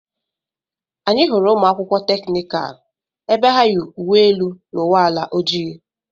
Anyị hụrụ ụmụ akwụkwọ teknikal ebe ha ya uwe elu na uwe ala ojii.